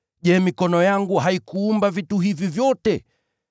Je, mkono wangu haukufanya vitu hivi vyote?’